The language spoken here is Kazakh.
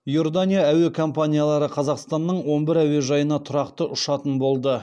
иордания әуе компаниялары қазақстанның он бір әуежайына тұрақты ұшатын болды